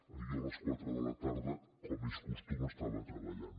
jo a les quatre de la tarda com és costum estava treballant